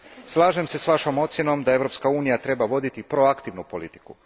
Slažem se s vašom ocjenom da Europska unija treba voditi proaktivnu politiku.